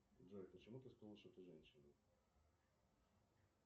джой почему ты сказала что ты женщина